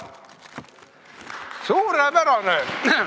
Suurepärane!